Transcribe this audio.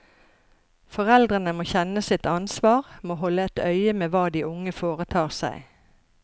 Foreldrene må kjenne sitt ansvar, må holde et øye med hva de unge foretar seg.